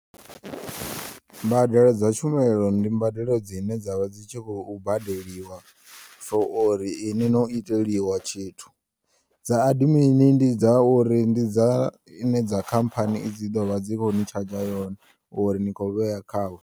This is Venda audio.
Mbadelo dza tshumelo ndi mbadelo dzine dza vha dzi tshi kho u badeliwa for uri ini no iteliwa tshithu, dza admini ndi dza uri ndi dza ine dza khamphani dzi ḓovha dzi khoni tshadzha yone uri ni kho u vheya khavho.